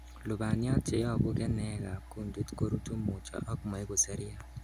Lubaniat cheyobu keneekab kuntit ko rutu mutyo ak moiku seriat.